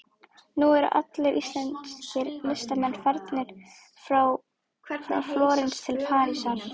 Nú eru allir íslenskir listamenn farnir frá Flórens til Parísar.